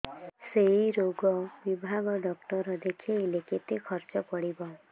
ସେଇ ରୋଗ ବିଭାଗ ଡ଼ାକ୍ତର ଦେଖେଇଲେ କେତେ ଖର୍ଚ୍ଚ ପଡିବ